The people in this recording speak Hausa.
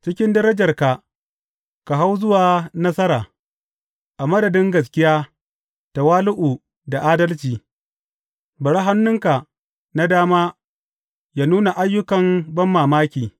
Cikin darajarka ka hau zuwa nasara a madadin gaskiya, tawali’u da adalci; bari hannunka na dama yă nuna ayyukan banmamaki.